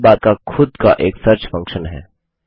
side bar का खुद का एक सर्च फंक्शन है